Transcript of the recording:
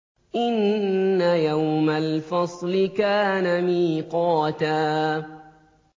إِنَّ يَوْمَ الْفَصْلِ كَانَ مِيقَاتًا